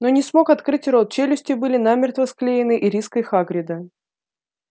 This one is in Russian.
но не смог открыть рот челюсти были намертво склеены ириской хагрида